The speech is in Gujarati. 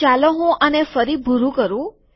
તો ચાલો હું આને ફરી ભૂરું કરું